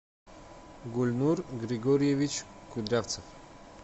гульнур григорьевич кудрявцев